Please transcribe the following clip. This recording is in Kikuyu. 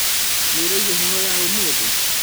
Nĩũraigua heho ya ũmũthĩ?